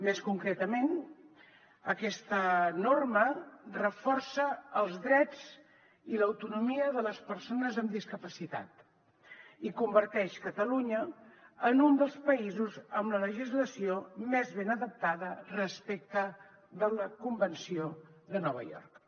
més concretament aquesta norma reforça els drets i l’autonomia de les persones amb discapacitat i converteix catalunya en un dels països amb la legislació més ben adaptada respecte a la convenció de nova york